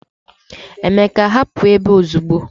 Emeka, hapụ ebe a ozugbo